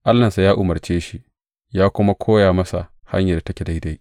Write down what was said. Allahnsa ya umarce shi ya kuma koya masa hanyar da take daidai.